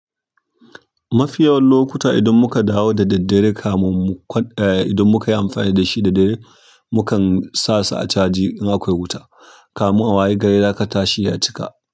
Mafiya lokuta idan muka dawo da daddare kamun mu kwan idan muka yi amfani da shi da dare, mukan sa su a caji in akwai wuta, kamun a wayi gari zaka tashi ya cika.